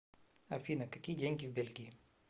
афина какие деньги в бельгии